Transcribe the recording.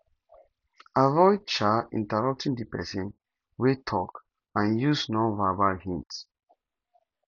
avoid um interrupting di person wey talk and use nonverbal hints